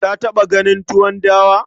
Ka taɓa ganin tuwon dawa?